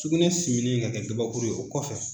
Sugunɛ siminɛ ka kɛ kabakuru ye o kɔfɛ.